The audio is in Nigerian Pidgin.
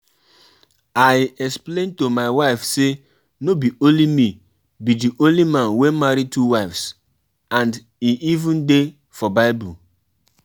I wan go see dat healer, e be like the pain for my leg don worse.